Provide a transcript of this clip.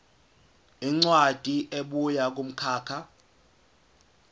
incwadi ebuya kumkhakha